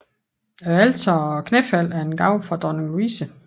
Alteret og knæfaldet er en gave fra dronning Louise